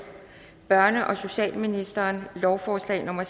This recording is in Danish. børne og socialministeren lovforslag nummer